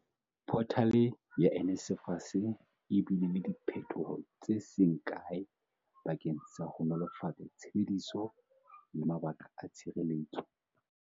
Photale ya NSFAS e bile le diphethoho tse seng kae bakeng sa ho nolofatsa tshebediso le mabaka a tshireletso.